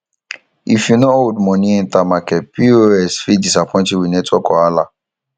if yu no hold money enter market pos fit disappoint yu wit network wahala